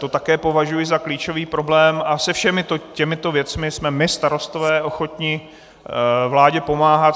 To také považuji za klíčový problém a se všemi těmito věcmi jsme my Starostové ochotni vládě pomáhat.